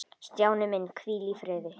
Stjáni minn, hvíl í friði.